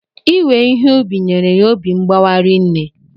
Iwe Ihe ubi nyere ya obi mgbawa rinne